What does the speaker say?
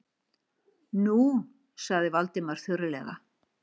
Nú- sagði Valdimar þurrlega.